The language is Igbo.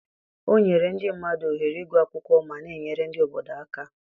o nyere ndị mmadụ ohere ịgụ akwụkwọ ma na-enyere ndị obodo aka.